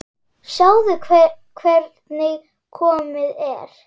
Sjáðu hvernig komið er.